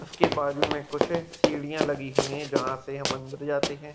इसके बाजू मे कुछ सीढ़ियाँ लगी हुई हैं जहाँ से हम अंदर जाते हैं |